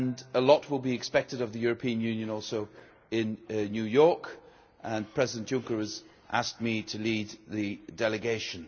a lot will be expected of the European Union also in New York, and President Juncker has asked me to lead the delegation.